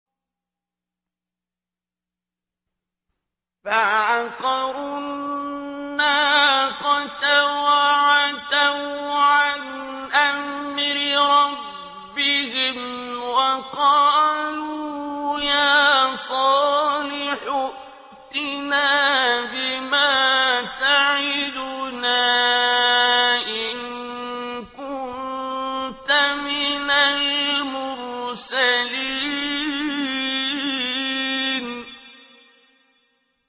فَعَقَرُوا النَّاقَةَ وَعَتَوْا عَنْ أَمْرِ رَبِّهِمْ وَقَالُوا يَا صَالِحُ ائْتِنَا بِمَا تَعِدُنَا إِن كُنتَ مِنَ الْمُرْسَلِينَ